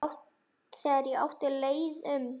Þegar ég átti leið um